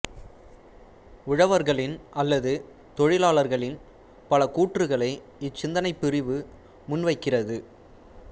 உழவர்களின் அல்லது தொழிலாளர்களின் பல கூற்றுக்களை இச் சிந்தனைப் பிரிவு முன்வைக்கிறது